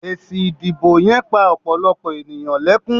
Èsì ìdìbò yen pa òpòlòpò ènìyàn lekun